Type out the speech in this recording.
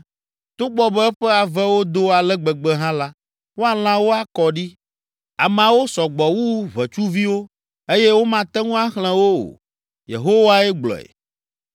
Togbɔ be eƒe avewo do ale gbegbe hã la, woalã wo akɔ ɖi. Ameawo sɔ gbɔ wu ʋetsuviwo eye womate ŋu axlẽ wo o. Yehowae gblɔe.